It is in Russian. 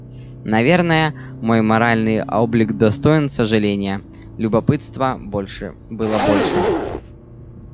наверное мой моральный облик достоин сожаления любопытства больше было больше